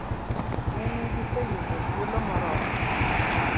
Ne ni giseyudo thuolo moromo.